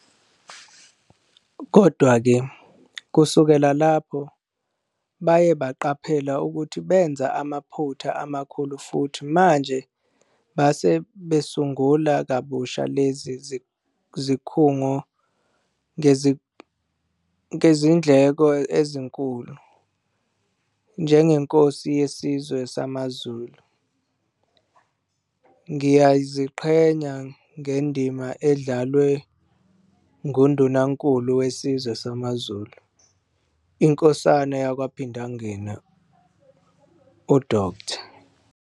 Kodwa-ke, kusukela lapho baye baqaphela ukuthi benza amaphutha amakhulu futhi manje base besungula kabusha lezi zikhungo ngezindleko ezinkulu. NjengeNkosi yeSizwe samaZulu Ngiyaziqhenya ngendima edlalwe nguNdunankulu weSizwe samaZulu, iNkosana yaKwaPhindangene, uDkt.